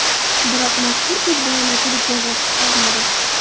Biroq mazkur ko‘zbo‘yamachilik jazosiz qolmadi.